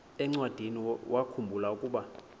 encwadiniwakhu mbula ukuba